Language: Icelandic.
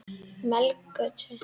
Melagötu